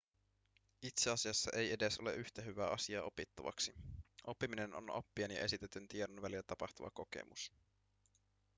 itse asiassa ei edes ole yhtä hyvää asiaa opittavaksi oppiminen on oppijan ja esitetyn tiedon välillä tapahtuva kokemus